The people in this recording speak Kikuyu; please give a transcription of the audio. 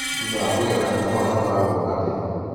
Thutha wa kũgetha kahũa gatwaragwo gagathĩo.